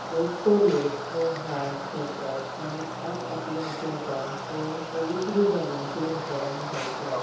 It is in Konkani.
चडसो लोक हे हार घेतात आनी आप आपल्यां देवांक हो पोवित्र जाग्यांचेर व्होरोन घालतात.